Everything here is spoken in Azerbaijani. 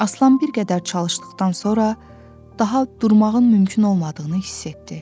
Aslan bir qədər çalışdıqdan sonra daha durmağın mümkün olmadığını hiss etdi.